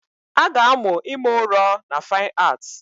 A ga-amụ ime ụrọ na Fine Art